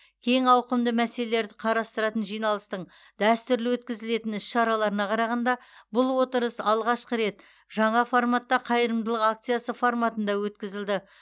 кең ауқымды мәселелерді қарастыратын жиналыстың дәстүрлі өткізілетін іс шараларына қарағанда бұл отырыс алғашқы рет жаңа форматта қайырымдылық акциясы форматында өткізілді